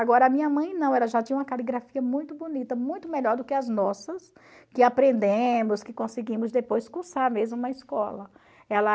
Agora, a minha mãe não, ela já tinha uma caligrafia muito bonita, muito melhor do que as nossas, que aprendemos, que conseguimos depois cursar mesmo na escola. Ela...